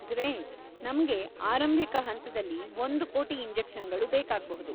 Great. ನಮ್ಗೆ ಆರಂಭಿಕ ಹಂತದಲ್ಲಿ ಒಂದು ಕೋಟಿ ಇಂಜೆಕ್ಷನ್‌ಗಳು ಬೇಕಾಗ್ಬಹುದು.